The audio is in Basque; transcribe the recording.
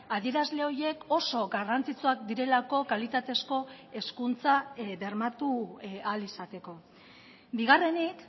adierazle horiek oso garrantzitsuak direlako kalitatezko hezkuntza bermatu ahal izateko bigarrenik